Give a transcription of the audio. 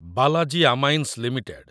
Balaji amines limited